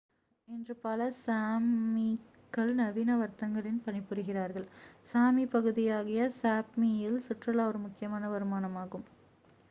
இன்று பல sámi கள் நவீன வர்த்தகங்களில் பணிபுரிகிறார்கள். sámi பகுதியாகிய sápmi யில் சுற்றுலா ஒரு முக்கியமான வருமானமாகும்